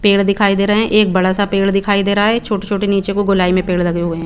पेड़ दिखाई दे रहे है एक बड़ा सा पेड़ दिखाई दे रहे है छोटे छोटे को नीचे गोलाई में पेड़ लगे हुए है।